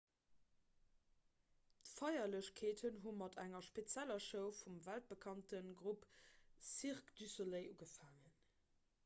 d'feierlechkeeten hu mat enger spezieller show vum weltbekannte grupp cirque du soleil ugefaangen